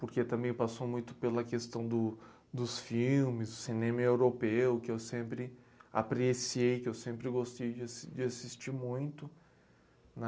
Porque também passou muito pela questão do dos filmes, do cinema europeu, que eu sempre apreciei, que eu sempre gostei de assis de assistir muito, né?